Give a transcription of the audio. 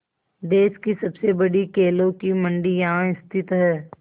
देश की सबसे बड़ी केलों की मंडी यहाँ स्थित है